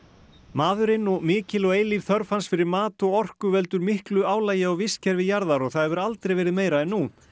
maðurinn og mikil og eilíf þörf hans fyrir mat og orku veldur miklu álagi á vistkerfi jarðar og það hefur aldrei verið meira en nú